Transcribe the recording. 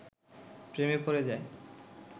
প্রেমে পড়ে যায়